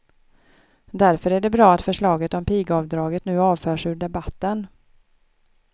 Därför är det bra att förslaget om pigavdraget nu avförs ur debatten.